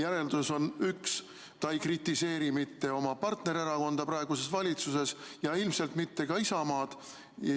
Järeldus on üks: ta ei kritiseeri mitte oma partnererakonda praeguses valitsuses ja ilmselt mitte ka Isamaad.